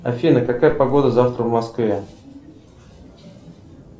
афина какая погода завтра в москве